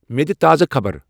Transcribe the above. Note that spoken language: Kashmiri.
مے دِ تازٕ خبرٕ ۔